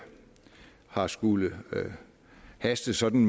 har skullet haste sådan